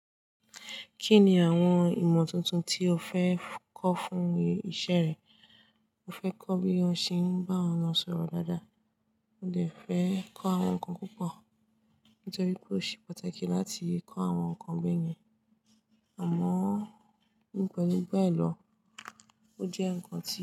Kí ni àwọn ìmọ̀ tuntun tí o fẹ́ kọ́ fún iṣẹ́ rẹ? Mo fẹ́ kọ́ bí won ṣe ń bá àwọn ọmọ sọ̀rọ̀ dáadáa. Mo lè fẹ́ kọ́ àwọn nǹkan púpọ̀ nítorí pé ó ṣe pàtàkì láti kọ́ àwọn nǹkan be yen. Àmọ́ nípa gbígbẹ́ lọ, ó jẹ́ nǹkan tí.